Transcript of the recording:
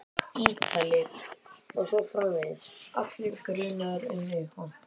Ítalir. og svo framvegis, allir grunaðir um eitthvað.